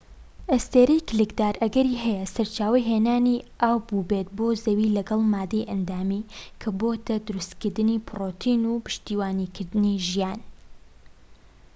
ئەستێرەی کلکدار ئەگەری هەیە سەرچاوەی هێنانی ئاو بووبێت بۆ زەوی لەگەڵ مادەی ئەندامی کە بۆتە دروستکردنی پرۆتین و پشتیوانیکردنی ژیان